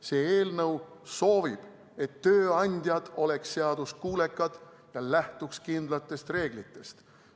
See eelnõu soovib, et tööandjad oleksid seaduskuulekad ja lähtuksid kindlatest reeglitest.